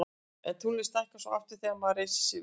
en tunglið stækkar svo aftur þegar maður reisir sig við